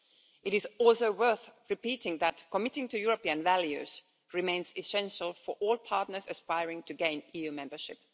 It is also worth repeating that committing to European values remains essential for all partners aspiring to gain EU membership.